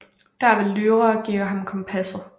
Der vil Lyra give ham kompasset